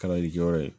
Kalalikɛyɔrɔ ye